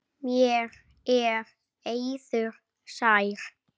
Mér er eiður sær.